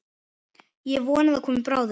Ég vona það komi bráðum.